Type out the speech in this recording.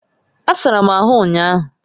Asara m ahụ ụnyahụ